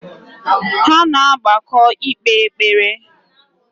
Ha na-agbakọ ikpe ekpere